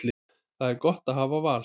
Það er gott að hafa val.